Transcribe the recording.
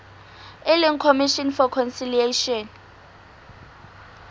e leng commission for conciliation